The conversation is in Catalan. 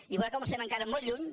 i veurà com estem encara molt lluny